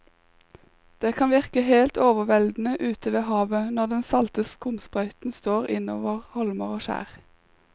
Det kan virke helt overveldende ute ved havet når den salte skumsprøyten slår innover holmer og skjær.